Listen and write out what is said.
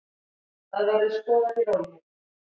Það verður skoðað í rólegheitum.